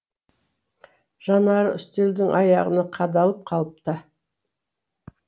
жанары үстелдің аяғына қадалып қалыпты